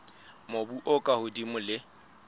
mobu o ka hodimo le